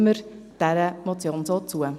Stimmen wir dieser Motion so zu.